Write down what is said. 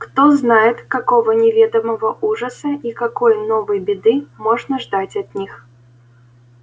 кто знает какого неведомого ужаса и какой новой беды можно ждать от них